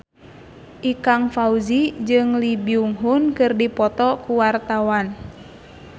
Ikang Fawzi jeung Lee Byung Hun keur dipoto ku wartawan